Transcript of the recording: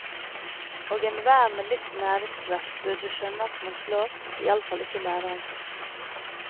Og enhver med litt næringsvett burde skjønne at man slår iallfall ikke læreren sin.